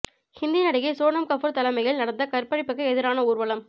ஹிந்தி நடிகை சோனம் கபூர் தலைமையில் நடந்த கற்பழிப்புக்கு எதிரான ஊர்வலம்